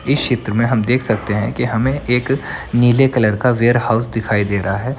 इस चित्र में हम देख सकते है कि हमें एक नीले कलर का वेयर हाउस दिखाई दे रहा है।